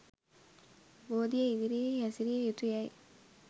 බෝධිය ඉදිරියෙහි හැසිරිය යුතු යැයි